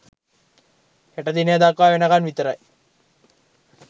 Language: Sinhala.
හෙට දිනය දක්වා වෙනකන් විතරයි.